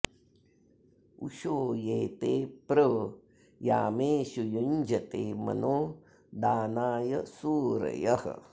उषो ये ते प्र यामेषु युञ्जते मनो दानाय सूरयः